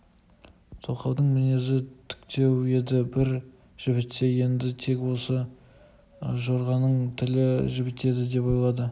тоқалының мінезі тіктеу еді бір жібітсе енді тек осы жорғаның тілі жібітер деп ойлады